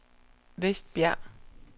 Vestbjerg